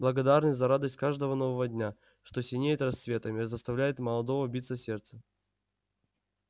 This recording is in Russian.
благодарны за радость каждого нового дня что синеет рассветом и заставляет молодо биться сердце